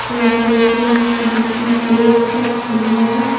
Table पे steel की plate रखी है।